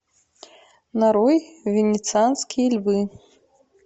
нарой венецианские львы